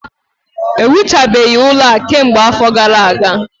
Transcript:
Ewuchabeghị ụlọ a kemgbe afọ gara aga